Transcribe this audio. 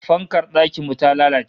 Fankar dakin mu ta lalace